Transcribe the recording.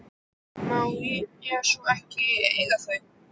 Má ég svo ekki eiga þau?